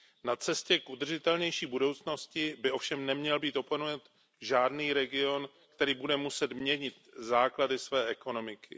Na cestě k udržitelnější budoucnosti by ovšem neměl být opomenut žádný region, který bude muset měnit základy své ekonomiky.